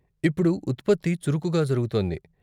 ఇప్పుడు ఉత్పత్తి చురుకుగా జరుగుతోంది.